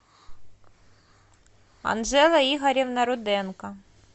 анжела игоревна руденко